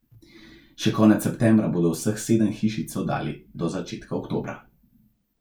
Še konec septembra bodo vseh sedem hišic oddali do začetka oktobra.